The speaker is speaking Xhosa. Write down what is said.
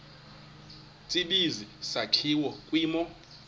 tsibizi sakhiwa kwimo